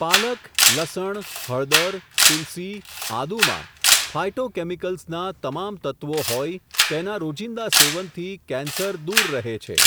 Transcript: પાલક, લસણ, હળદર, તુલસી, આદુમાં, ફાયટોકેમિકલ્સના, તમામ તત્ત્વો હોઇ, તેના રોજિંદા સેવનથી, કેન્સર દૂર રહે છે.